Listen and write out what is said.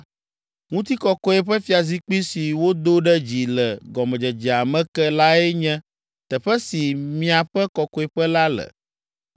Ŋutikɔkɔe ƒe fiazikpui si wodo ɖe dzi le gɔmedzedzea me ke lae nye teƒe si miaƒe kɔkɔeƒe la le.